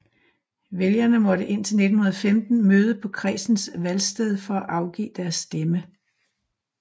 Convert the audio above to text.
Vælgerne måtte indtil 1915 møde på kredsens valgsted for at afgive deres stemme